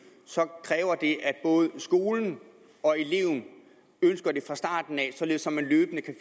kræver det at både skolen og eleven ønsker det fra starten således at man løbende kan